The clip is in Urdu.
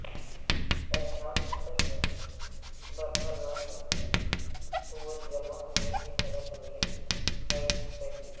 اہرام مصر میں برقناطیسی قوت جمع ہونے کے حیرت انگیز سائنسی پہلو